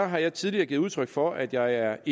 har jeg tidligere givet udtryk for at jeg er